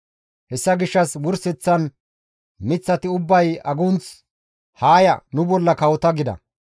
«Hessa gishshas wurseththan miththati ubbay agunth, ‹Haa ya, nu bolla kawota› gida.